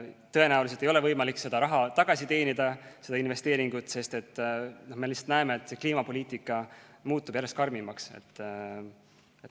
Tõenäoliselt ei ole võimalik seda raha tagasi teenida, seda investeeringut, sest me näeme, et kliimapoliitika muutub järjest karmimaks.